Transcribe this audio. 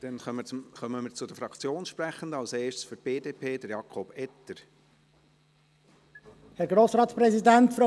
Dann kommen wir zu den Fraktionssprechenden, als erster Jakob Etter für die BDP.